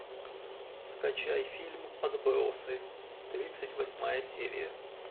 скачай фильм отбросы тридцать восьмая серия